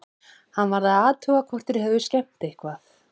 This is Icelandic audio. Hann varð að athuga hvort þeir hefðu skemmt eitthvað.